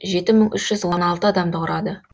жеті мың үш жүз он алты адамды құрады